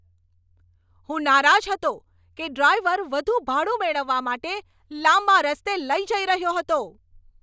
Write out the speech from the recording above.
હું નારાજ હતો કે ડ્રાઈવર વધુ ભાડું મેળવવા માટે લાંબા રસ્તે લઈ જઈ રહ્યો હતો.